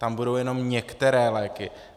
Tam budou jenom některé léky.